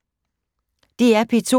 DR P2